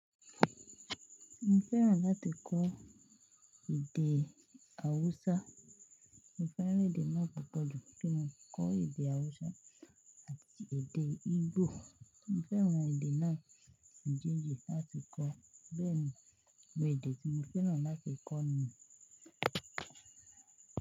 Mo fẹ́ràn láti kọ́ èdè Awusa. Mo fẹ́ràn èdè náà púpọ̀ jù kí n kọ́ èdè Awusa àti èdè Igbo. Mo fẹ́ràn èdè náà méjèèjì láti kọ́. Bẹ́ẹ̀ ni, àwon èdè tí mo fẹ́ràn láti kọ́ nìyẹn.